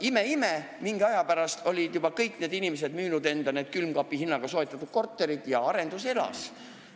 Ime-ime, mingi aja pärast olid juba kõik need inimesed müünud need külmkapi hinnaga soetatud korterid maha ja kinnisvaraarendus elas.